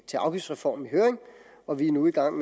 til afgiftsreform i høring og vi er nu i gang